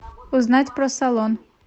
узнать про салон